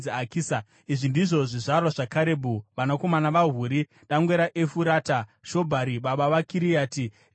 Izvi ndizvo zvizvarwa zvaKarebhu. Vanakomana vaHuri dangwe raEfurata: Shobhari baba vaKiriati Jearimi,